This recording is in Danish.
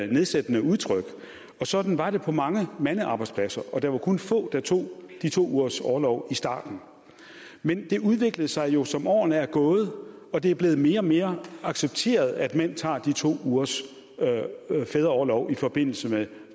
nedsættende udtryk sådan var det på mange mandearbejdspladser og der var kun få der tog de to ugers orlov i starten men det udviklede sig jo som årene er gået og det er blevet mere og mere accepteret at mænd tager de to ugers fædreorlov i forbindelse med